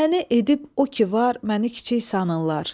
Təhnə edib o ki var, məni kiçik sanırlar.